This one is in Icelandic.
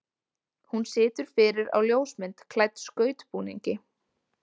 Hún situr fyrir á ljósmynd klædd skautbúningi.